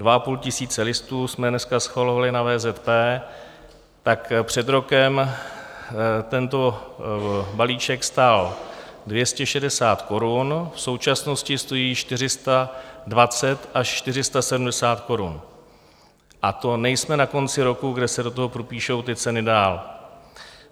Dva a půl tisíce listů jsme dneska schvalovali na VZP, tak před rokem tento balíček stál 260 korun, v současnosti stojí 420 až 470 korun, a to nejsme na konci roku, kde se do toho propíší ty ceny dál.